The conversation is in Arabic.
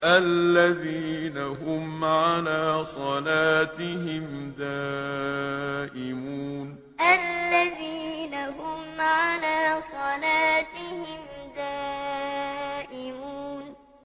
الَّذِينَ هُمْ عَلَىٰ صَلَاتِهِمْ دَائِمُونَ الَّذِينَ هُمْ عَلَىٰ صَلَاتِهِمْ دَائِمُونَ